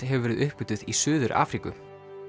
hefur verið uppgötvuð í Suður Afríku